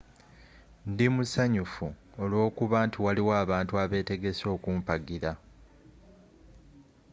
ndi musanyufu olw'okuba nti waliwo abantu abeetegese okumpagira